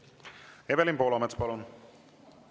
Evelin Poolamets, palun!